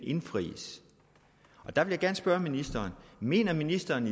indfries og der vil jeg gerne spørge ministeren mener ministeren